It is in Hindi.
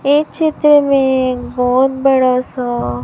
ये चित्र में एक बहोत बड़ा सा--